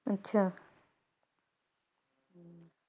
ਅੱਛਾ